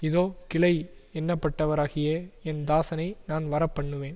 இதோ கிளை என்னப்பட்டவராகிய என் தாசனை நான் வரப்பண்ணுவேன்